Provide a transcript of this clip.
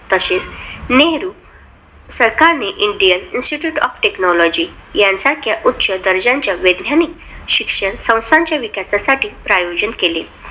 तशेच नेहरू सरकारने Indian institute of technology यांसारख्या उच्च दर्जाच्या वैद्यानिक शिक्षण संस्थांच्या विकासासाठी प्रयोजन केले.